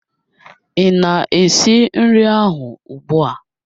Ị na-esi nri ahụ ugbua?